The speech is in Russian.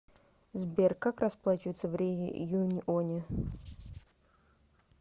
сбер как расплачиваться в реюньоне